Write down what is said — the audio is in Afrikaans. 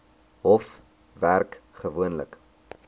hof werk gewoonlik